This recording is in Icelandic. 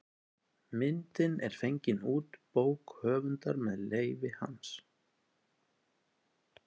Myndin er fengin út bók höfundar með leyfi hans.